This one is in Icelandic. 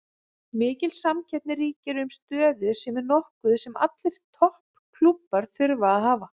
Mikil samkeppni ríkir um stöður sem er nokkuð sem allir topp klúbbar þurfa að hafa.